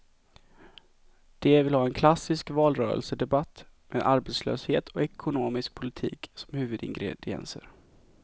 De vill ha en klassisk valrörelsedebatt med arbetslöshet och ekonomisk politik som huvudingredienser.